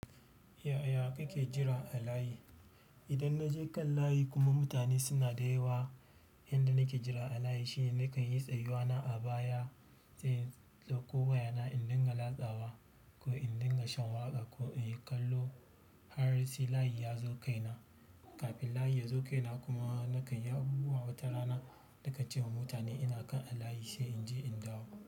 Yaya kake jira a layi? Idan na je kan layi kuma mutane suna da yawa, yanda nake jira a layi shine nakan yi tsayuwa na a baya, sai in ɗauko wayana in dinga latsawa ko in dinga shan waƙa ko in yi kallo har sai layi ya zo kaina. Kafin layi ya zo kaina kuma nakan yi abubuwa wata rana, nakan cewa mutane ina kan a layi sai in je in dawo.